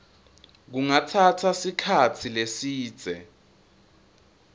kungatsatsa sikhatsi lesidze